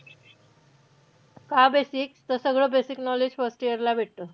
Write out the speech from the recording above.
का basic? तर सगळं basic knowledge first year ला भेटतं.